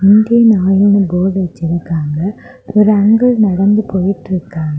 Indian ஆயில்னு board வச்சிருக்காங்க. ஒரு அங்கிள் நடந்து போயிட்டுருக்காங்க.